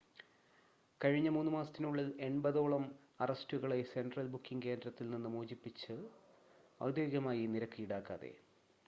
കഴിഞ്ഞ 3 മാസത്തിനുള്ളിൽ 80 ഓളം അറസ്റ്റുകളെ സെൻട്രൽ ബുക്കിംഗ് കേന്ദ്രത്തിൽ നിന്ന് മോചിപ്പിച്ചു ഔദ്യോഗികമായി നിരക്ക് ഈടാക്കാതെ